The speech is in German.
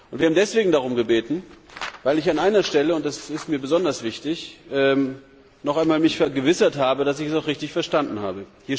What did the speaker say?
Wir haben deswegen darum gebeten, weil ich mich an einer Stelle, und das ist mir besonders wichtig, noch einmal vergewissern wollte, dass ich es auch richtig verstanden habe.